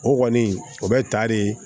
O kɔni o bɛ ta de